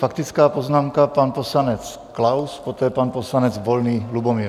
Faktická poznámka pan poslanec Klaus, poté pan poslanec Volný Lubomír.